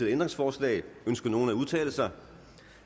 ændringsforslag ønsker nogen at udtale sig